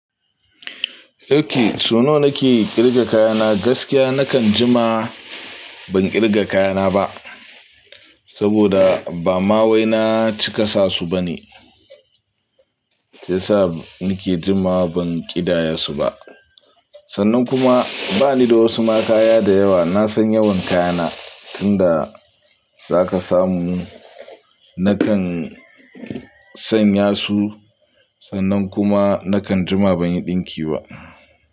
Okay, so nawa nake ƙirga kayana gaskiya nakan jima ban ƙirga kayana ba, saboda ba ma wai na cika sa su bane. Sai sa nake jima ban ƙidaya su ba. Sannan kuma bani da wasu ma kaya da yawa. Na san yawan kayana tunda zaka samu nakan sanya su sannan kuma nakan jima ban yi ɗinki ba.